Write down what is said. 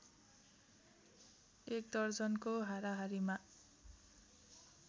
एक दर्जनको हाराहारीमा